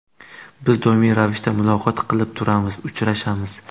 Biz doimiy ravishda muloqot qilib turamiz, uchrashamiz.